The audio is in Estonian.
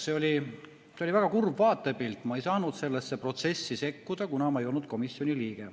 See oli väga kurb vaatepilt, ma ei saanud sellesse protsessi sekkuda, kuna ma ei olnud komisjoni liige.